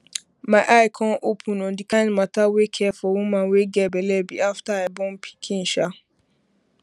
my eye come open on the kind mata wey care for woman wey get belle be after i born pikin